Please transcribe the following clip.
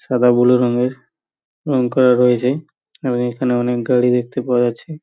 সাদা বুলু রঙের রং করা রয়েছে এবং এখানে অনেক দড়ি দেখতে পাওয়া যাচ্ছে।